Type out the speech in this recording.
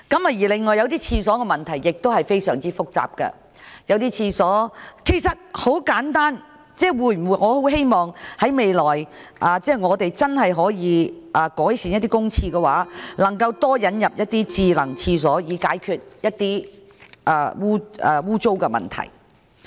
此外，洗手間的問題亦非常複雜，很簡單，我很希望政府未來真的可以改變一些公廁的設施，引入多些智能洗手間設施，以解決污穢等衞生問題。